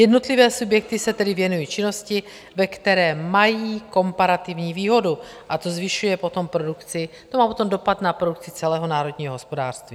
Jednotlivé subjekty se tedy věnují činnosti, ve které mají komparativní výhodu, a to zvyšuje potom produkci, to má potom dopad na produkci celého národního hospodářství.